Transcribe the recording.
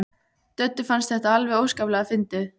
Döddu fannst þetta alveg óskaplega fyndið.